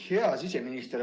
Hea siseminister!